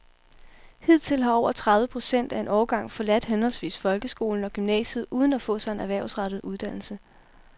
Hidtil har over tredive procent af en årgang forladt henholdsvis folkeskolen og gymnasiet uden at få sig en erhvervsrettet uddannelse.